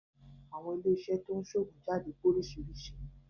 Àwọn ilé iṣẹ́ to ń ṣe oògùn jáde pé oríṣiríṣi